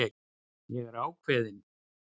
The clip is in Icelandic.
Ég er ákveðin.